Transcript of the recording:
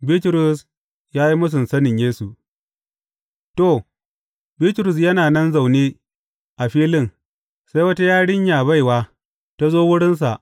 Bitrus ya yi mūsun sanin Yesu To, Bitrus yana nan zaune a filin, sai wata yarinya baiwa, ta zo wurinsa.